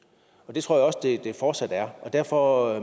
og det tror jeg også det fortsat er og derfor